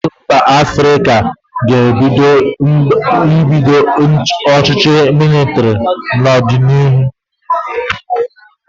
Ụfọdụ mba Afrịka nwere ike ibido ọchịchị mịlịtịrị n'ọdịnihu.